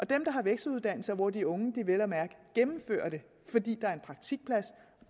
dem der har vekseluddannelser og hvor de unge vel at mærke gennemfører fordi der er en praktikplads